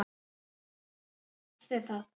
Þar hafið þið það!